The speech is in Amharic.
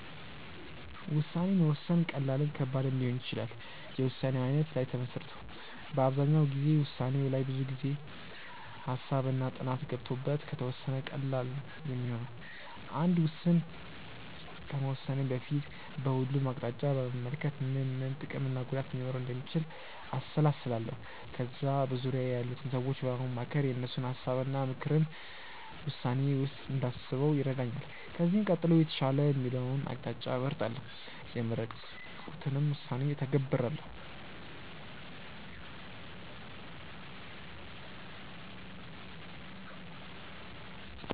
ውሳኔ መወሰን ቀላልም ከባድም ሊሆን ይችላል የውሳኔው አይነት ላይ ተመስርቶ። አብዛኛው ጊዜ ውሳኔው ላይ ብዙ ጊዜ፣ ሃሳብ እና ጥናት ገብቶበት ከተወሰነ ቀላል ነው ሚሆነው። አንድ ውስን ከመወሰኔ በፊት በሁሉም አቅጣጫ በመመልከት ምን ምን ጥቅም እና ጉዳት ሊኖረው እንደሚችል አሰላስላለው። ከዛ በዙርያዬ ያሉትን ሰዎች በማማከር የእነሱን ሀሳብ እና ምክርን ውሳኔዬ ውስጥ እንዳስበው ይረዳኛል። ከዚህም ቀጥሎ የተሻለ የምለውን አቅጣጫ እመርጣለው። የመረጥኩትንም ውሳኔ እተገብራለው።